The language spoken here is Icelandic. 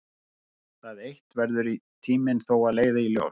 Það eitt verður tíminn þó að leiða í ljós.